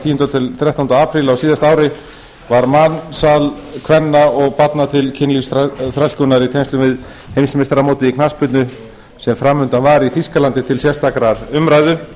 tíunda þrettánda apríl tvö þúsund og sex var mansal kvenna og barna til kynlífsþrælkunar í tengslum við heimsmeistaramótið í knattspyrnu sem fram undan var í þýskalandi til sérstakrar umræðu